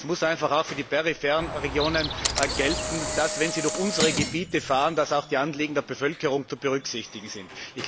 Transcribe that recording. Es muss einfach auch für die peripheren Regionen gelten, wenn sie durch unsere Gebiete fahren, dass auch die Anliegen der Bevölkerung zu berücksichtigen sind.